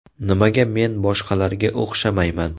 Nimaga men boshqalarga o‘xshamayman?